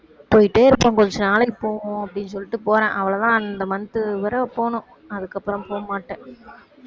போயிட்டே இருப்பேன் கொஞ்சம் நாளைக்கு போவோம் அப்படின்னு சொல்லிட்டு போறேன் அவ்வளவுதான் அந்த month வரை போகணும் அதுக்கப்புறம் போகமாட்டேன்